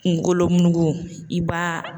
Kunkolo mugu i b'a